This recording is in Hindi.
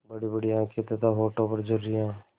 बड़ीबड़ी आँखें तथा होठों पर झुर्रियाँ